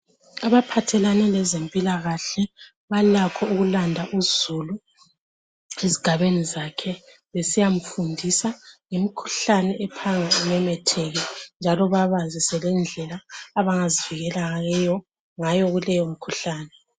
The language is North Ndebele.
Abaphathelane lezempilakahle balakho ukulanda uzulu ezigabeni zakhe besiyamfundisa ngemikhuhlane ephanga imemetheke njalo babazise lendlela abangazivikela ngayo kuleyo mikhuhlane.